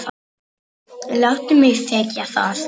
Láttu mig þekkja það.